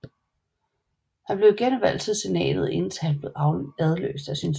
Han blev igen valgt til senatet indtil han blev adløst af sin søn J